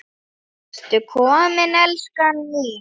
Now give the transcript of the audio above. Ertu kominn, elskan mín?